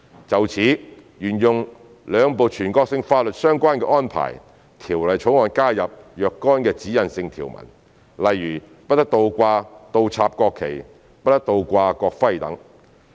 就此，為沿用兩部全國性法律的相關安排，《條例草案》加入若干指引性條文，例如不得倒掛、倒插國旗，不得倒掛國徽等。